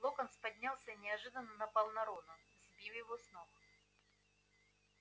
локонс поднялся и неожиданно напал на рона сбив его с ног